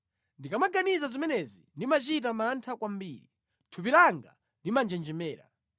Ndikamaganiza zimenezi ndimachita mantha kwambiri; thupi langa limanjenjemera.